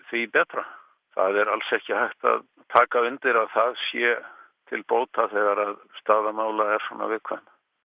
því betra það er alls ekki hægt að taka undir að það sé til bóta þegar staða mála er svona viðkvæm